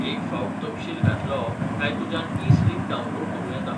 एक फावट तपशील घातलो काय तुज्यान ई स्लिप डावनलोड करूं येता.